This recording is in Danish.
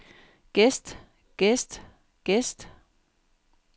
gæst gæst gæst